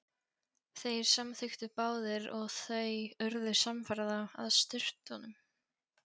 Þeir samþykktu báðir og þau urðu samferða að sturtunum.